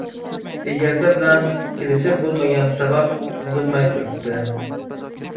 Egasi bilan kelishib bo‘lmagani sabab, buzilmay turibdi.